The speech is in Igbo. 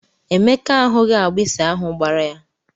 Emeka ahughi agbụsị ahụ gbara ya.